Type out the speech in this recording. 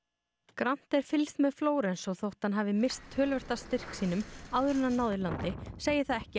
grannt er fylgst með Flórens og þótt hann hafi misst töluvert af styrk sínum áður en hann náði landi segir það ekki